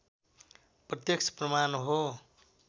प्रत्यक्ष प्रमाण हो